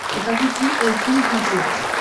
покажи ти эль си на смотрешке